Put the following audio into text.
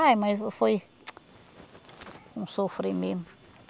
Ah, mas foi... Um sofrimento.